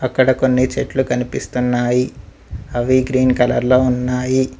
అక్కడ కొన్ని చెట్లు కనిపిస్తున్నాయి అవి గ్రీన్ కలర్లో ఉన్నాయి.